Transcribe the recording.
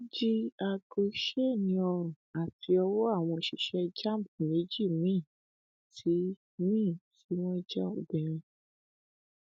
àmọ gómìnà ìpínlẹ ọdọ arákùnrin olùwárọtẹmi akérèdọlù ti fìdí ọrọ yìí múlẹ